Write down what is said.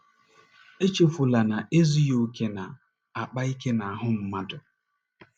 Echefula na ezughị okè na - akpa ike n’ahụ́ mmadụ.